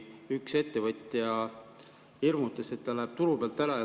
Üks ettevõtja hirmutas, et ta läheb turu pealt ära.